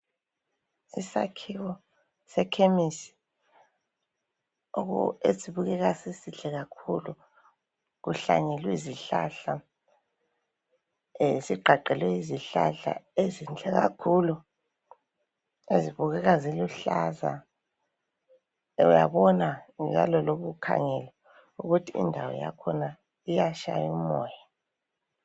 Isakhiwo sechemis esibukeka sisihle kakhulu kuhlanyelwe izihlahla sigqagqelwe yizihlahla ezinhle kakhulu ezibukeka ziluhlaza uyabona lawe iloba ukhangele ukuthi indawo yakhona itshaya umoya.